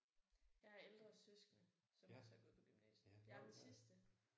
Jeg har ældre søskende som også har gået på gymnasiet. Jeg er den sidste